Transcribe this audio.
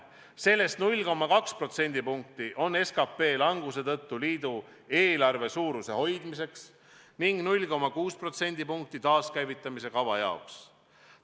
Sellest 0,2% on ette nähtud SKT kahanemise tõttu liidu eelarve suuruse hoidmiseks ning 0,6% taaskäivitamise kava jaoks.